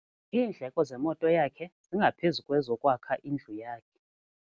Iindleko zemoto yakhe zingaphezu kwezokwakha indlu yakhe.